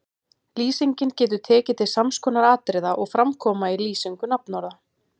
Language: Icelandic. Lýsingin getur tekið til sams konar atriða og fram koma í lýsingu nafnorða